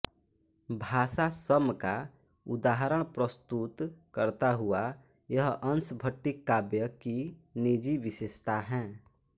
भाषा सम का उदाहरण प्रस्तुत करता हुआ यह अंश भट्टिकाव्य की निजी विशेषता है